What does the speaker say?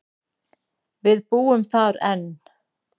Við búum þar enn.